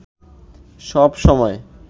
সব সময়